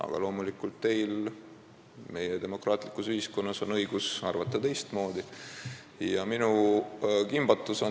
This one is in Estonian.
Aga loomulikult on teil meie demokraatlikus ühiskonnas õigus teistmoodi arvata.